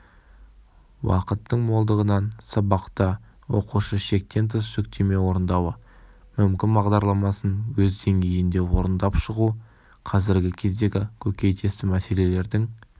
уақыттың молдығынан сабақта оқушы шектен тыс жүктеме орындауы мүмкін бағдарламасын өз деңгейінде орындап шығу қазіргі кездегі көкейтесті мәселелердің